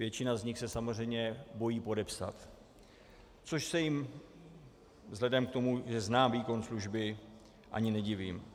Většina z nich se samozřejmě bojí podepsat, což se jim vzhledem k tomu, že znám výkon služby, ani nedivím.